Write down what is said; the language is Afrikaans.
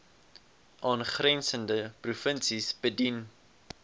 aangrensende provinsies bedien